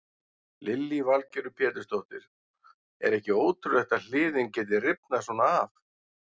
Lillý Valgerður Pétursdóttir: Er ekki ótrúlegt að hliðin geti rifnað svona af?